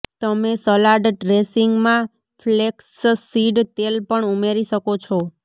તમે સલાડ ડ્રેસિંગમાં ફ્લેક્સસીડ તેલ પણ ઉમેરી શકો છો